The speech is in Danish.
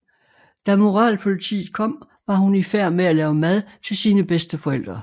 Da moralpolitiet kom var hun i færd med at lave mad til sine bedsteforældre